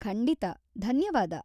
ಖಂಡಿತ, ಧನ್ಯವಾದ.